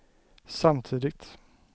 samtidigt